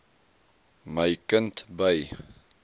my kind by